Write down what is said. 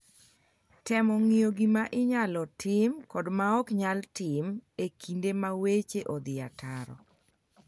temo ng'iyo gima inyalo tim kod maok nyal tim e kinde ma weche odhi ataro